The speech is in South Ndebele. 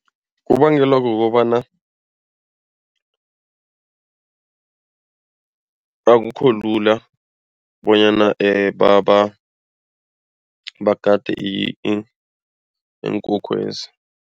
Kubangelwa kukobana akukho lula bonyana bagade iinkhukhwezi.